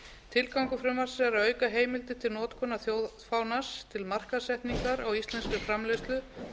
tilgangur frumvarpsins er að auka heimildir til notkunar þjóðfánans til markaðssetningar á íslenskri framleiðslu